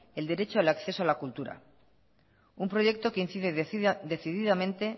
el derecho al acceso a la cultura un proyecto que incide decididamente